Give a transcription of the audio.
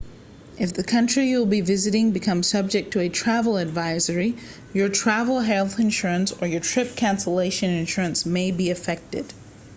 if the country you will be visiting becomes subject to a travel advisory your travel health insurance or your trip cancellation insurance may be affected